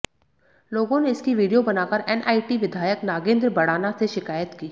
लोगों ने इसकी वीडियो बनाकर एनआईटी विधायक नागेंद्र भड़ाना से शिकायत की